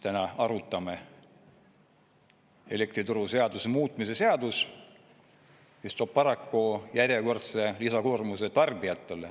Täna arutame elektrituruseaduse muutmise seadust, mis toob paraku järjekordse lisakoormuse tarbijatele.